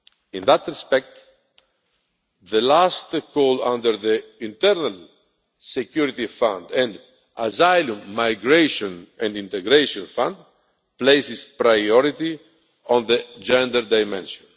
In that respect, the last call under the Internal Security Fund and Asylum, Migration and Integration Fund places priority on the gender dimension.